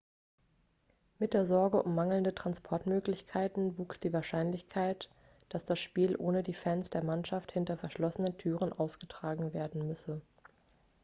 mit der sorge um mangelnde transportmöglichkeiten wuchs die wahrscheinlichkeit dass das spiel ohne die fans der mannschaft hinter verschlossenen türen ausgetragen werden müsse